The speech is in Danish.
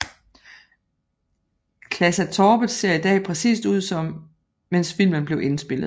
Klasatorpet ser i dag præcist ud som mens filmen blev indspillet